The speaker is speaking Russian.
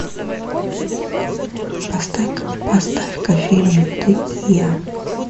поставь ка фильм ты и я